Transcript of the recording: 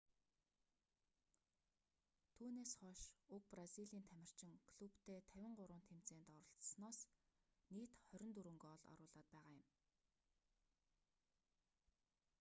түүнээс хойш уг бразилийн тамирчин клубтээ 53 тэмцээнд оролсоноос нийт 24 гоол оруулаад байгаа юм